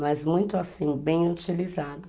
mas muito assim, bem utilizado.